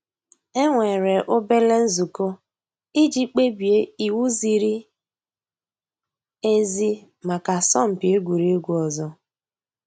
É nwèré òbèlé ǹzùkọ́ ìjì kpèbíé íwú zìrí èzí màkà àsọ̀mpị́ egwuregwu ọ̀zọ́.